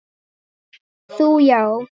Þú já.